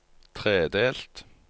tredelt